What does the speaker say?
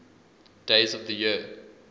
days of the year